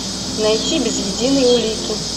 найти без единой улики